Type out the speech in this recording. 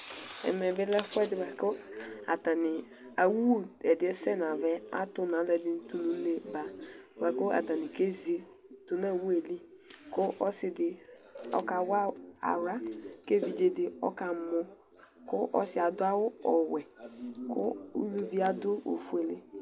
Ɛmɛ bilɛ ɛfʋɛdi bʋakʋ awʋ ɛdiyɛ sɛnʋ ava yɛ atu nʋ alʋɛdini tʋnʋ uneba bʋakʋ atani kezi nʋ awʋeli kʋ ɔsidi okawa aɣka kʋ evudze di ɔkamɔ kʋ ɔsi adʋ awʋ ɔwɛ kʋ ʋlʋvi adʋ ofuele